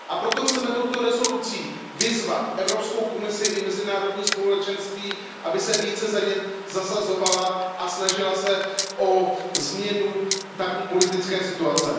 A proto chceme touto rezolucí vyzvat Evropskou komisi i mezinárodní společenství, aby se za ně více zasazovala a snažila se o změnu tamní politické situace.